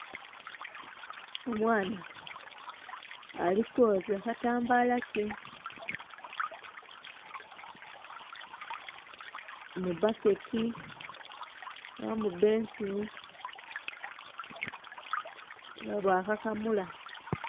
Omwana ali kwooza katambala ke mu bucket oba mu bensini era nga bwakakamula.